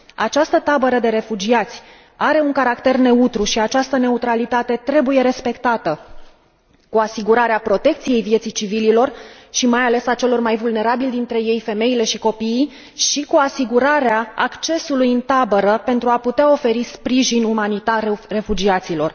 Această tabără de refugiați are un caracter neutru și această neutralitate trebuie respectată, prin asigurarea protecției vieții civililor și, mai ales, a celor mai vulnerabili dintre ei, femeile și copiii, și cu asigurarea accesului în tabără pentru a putea oferi sprijin umanitar refugiaților.